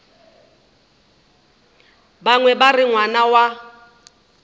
bangwe ba re ngwana wa